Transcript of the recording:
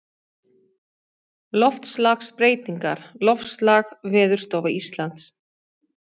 Loftslagsbreytingar Loftslag Veðurstofa Íslands.